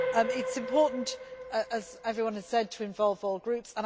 It is important, as everyone has said, to involve all groups.